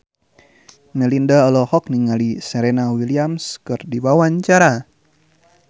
Melinda olohok ningali Serena Williams keur diwawancara